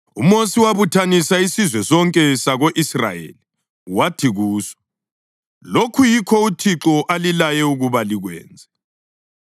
UMosi wabuthanisa isizwe sonke sako-Israyeli wathi kuso, “Lokhu yikho uThixo alilaye ukuba likwenze: